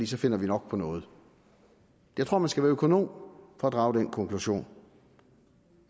så finder vi nok på noget jeg tror man skal være økonom for at drage den konklusion